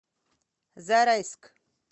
зарайск